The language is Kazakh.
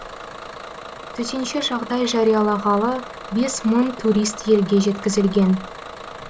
төтенше жағдай жариялағалы бес мың турист елге жеткізілген